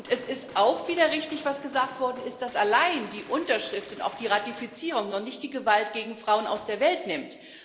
Und es ist auch wieder richtig, was gesagt worden ist, dass allein die Unterschrift und auch die Ratifizierung noch nicht die Gewalt gegen Frauen aus der Welt nimmt.